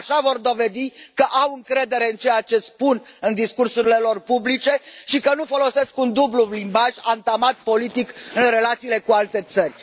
Așa vor dovedi că au încredere în ceea ce spun în discursurile lor publice și că nu folosesc un dublu limbaj, antamat politic în relațiile cu alte țări.